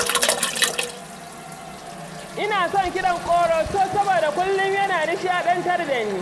Na fi son Kiɗan ƙoroso saboda kullum yana nishaɗantar da ni.